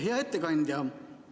Hea ettekandja!